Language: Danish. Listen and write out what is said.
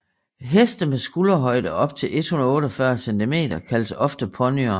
Heste med skulderhøjde op til 148 cm kaldes ofte ponyer